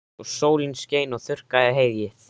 Og sólin skein og þurrkaði heyið.